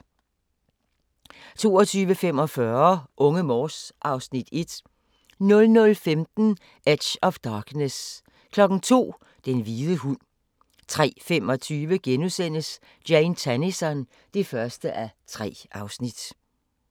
22:45: Unge Morse (Afs. 1) 00:15: Edge of Darkness 02:00: Den hvide hund 03:25: Jane Tennison (1:3)*